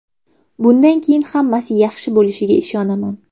Bundan keyin hammasi yaxshi bo‘lishiga ishonaman”.